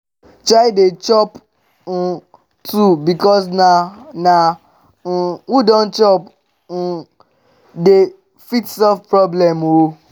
try dey chop um too bikos na na um who don chop um dey fit solve problem o